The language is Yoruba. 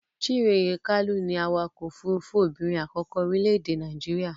Chinyere Kalu ni awakọ-òfurufú obìnrin àkọ́kọ́ orílẹ̀-èdè Nàíjíríà.